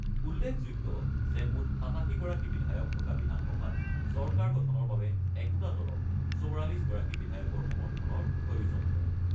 উল্লেখযোগ্য যে মুঠ ৮৭ গৰাকী বিধায়ক থকা বিধানসভাত চৰকাৰ গঠনৰ বাবে একোটা দলক ৪৪ গৰাকী বিধায়কৰ সমৰ্থনৰ প্ৰয়োজন হয়।